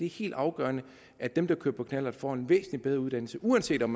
helt afgørende at dem der kører på knallert får en væsentlig bedre uddannelse uanset om